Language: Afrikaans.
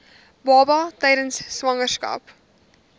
baba tydens swangerskap